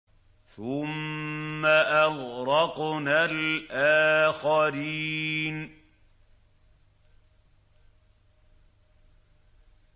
ثُمَّ أَغْرَقْنَا الْآخَرِينَ